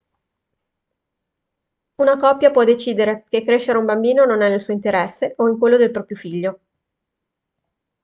una coppia può decidere che crescere un bambino non è nel suo interesse o in quello del proprio figlio